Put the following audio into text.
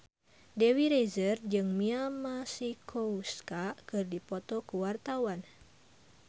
Dewi Rezer jeung Mia Masikowska keur dipoto ku wartawan